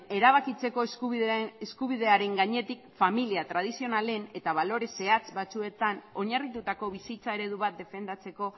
erabakitzeko eskubidearen gainetik familia tradizionalen eta balore zehatz batzuetan oinarritutako bizitza eredu bat defendatzeko